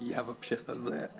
я вообще-то зэк